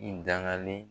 I dangalen